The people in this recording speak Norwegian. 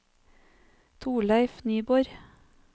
Torleif Nyborg